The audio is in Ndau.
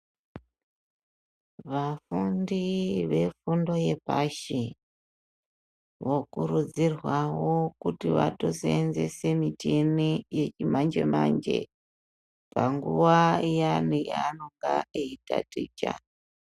Vafundi vefundo yepashi , vokurudzirwawo kuti vaseenzese michini yechimanje manje , panguva iyani pavanenge veitaticha.